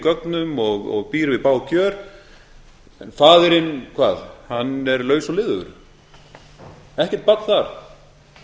gögnum og býr við bág kjör en faðirinn hann hvað hann er laus og liðugur ekkert barn þar